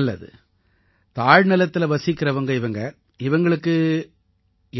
நல்லது தாழ்நிலத்தில வசிக்கறவங்க இவங்க இவங்களுக்கு